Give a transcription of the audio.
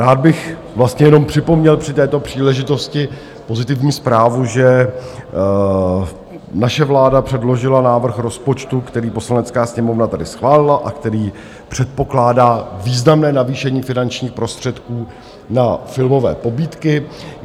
Rád bych vlastně jenom připomněl při této příležitosti pozitivní zprávu, že naše vláda předložila návrh rozpočtu, který Poslanecká sněmovna tedy schválila a který předpokládá významné navýšení finančních prostředků na filmové pobídky.